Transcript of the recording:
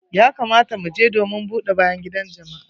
Ya kamata mu je domin buɗe bayan gidan jama'a.